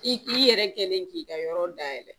I yɛrɛ kɛlen k'i ka yɔrɔ dayɛlɛ